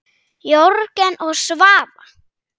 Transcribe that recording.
Jörgen og Svava.